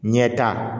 Ɲɛta